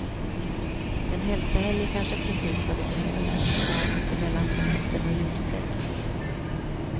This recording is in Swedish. En hälsohelg är kanske precis vad du behöver så här mitt emellan semestern och julstöket.